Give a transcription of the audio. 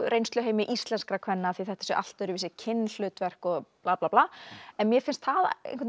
reynsluheimi íslenskra kvenna af því þetta séu allt öðruvísi kynhlutverk og bla bla bla en mér finnst það einhvern